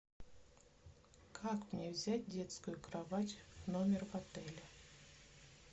как мне взять детскую кровать в номер в отеле